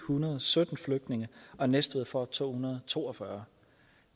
hundrede og sytten flygtninge og næstved får to hundrede og to og fyrre